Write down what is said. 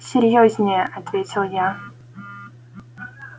серьёзнее ответил я